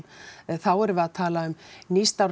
þá erum við að tala um